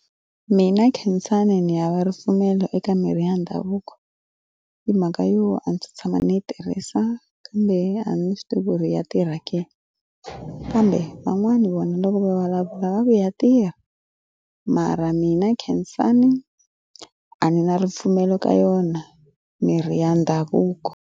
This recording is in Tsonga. Mina khensani ndzi ya va ripfumelo eka mirhi ya ndhavuko hi mhaka yo a ndzi se tshama ndzi yi tirhisa kambe a ndzi swi tivi ku ri ya tirha ke kambe van'wani vona loko va vulavula va ku ya tirha mara mina Khensani a ndzi na ripfumelo ka yona mirhi ya ndhavuko.